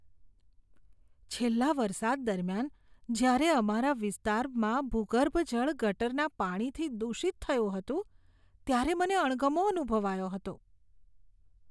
છેલ્લા વરસાદ દરમિયાન જ્યારે અમારા વિસ્તારમાં ભૂગર્ભજળ ગટરના પાણીથી દૂષિત થયું હતું, ત્યારે મને અણગમો અનુભવાયો હતો.